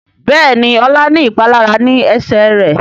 Béèni Ola ní ìpalára ní Ẹsẹ̀ rẹ.